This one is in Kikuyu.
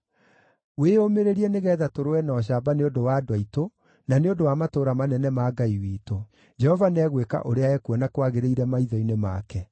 Wĩyũmĩrĩrie nĩgeetha tũrũe na ũcamba nĩ ũndũ wa andũ aitũ, na nĩ ũndũ wa matũũra manene ma Ngai witũ. Jehova nĩegwĩka ũrĩa ekuona kwagĩrĩire maitho-inĩ make.”